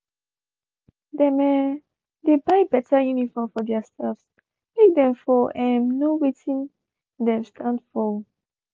dem um dey buy better uniform for their staffs make them for um know watin them stand for.